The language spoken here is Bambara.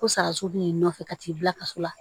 Ko sara so b'i nɔfɛ ka t'i bila kaso la